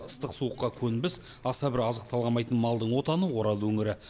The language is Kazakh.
ыстық суыққа көнбіс аса бір азық талғамайтын малдың отаны орал өңірі